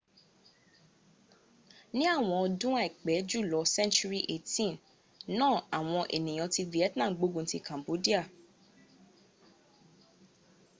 ní àwọn ọdun aipẹ julọ century 18 náà àwọn eniyan ti vietnam gbógun ti cambodia